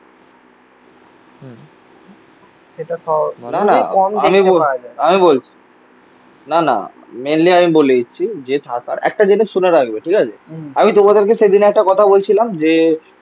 আমি বলছি না না মেনলি আমি বলে দিচ্ছি যে একটা জিনিস শুনে রাখবে ঠিক আছে. আমি তোমাদেরকে সেদিন একটা কথা বলছিলাম যে